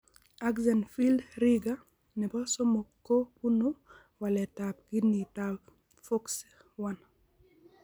Axenfeld Rieger nebo somok ko bunu waletab ginitab FOXC1.